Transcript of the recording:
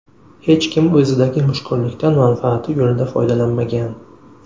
Hech kim o‘zidagi mushkullikdan manfaati yo‘lida foydalanmagan.